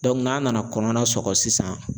n'a nana kɔnɔna sɔgɔ sisan